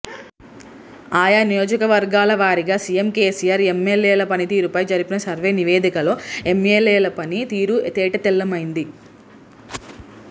ఆయా నియోజకవర్గాల వారిగా సిఎం కెసిఆర్ ఎంఎల్ఎల పని తీరుపై జరిపిన సర్వే నివేదికలో ఎంఎల్ఎల పని తీరు తేటతెల్లమైంది